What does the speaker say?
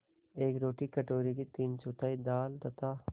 एक रोटी कटोरे की तीनचौथाई दाल तथा